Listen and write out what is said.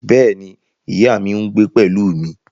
Bẹ́ẹ̀ ni, ìyá mi ń gbé pẹ̀lú mi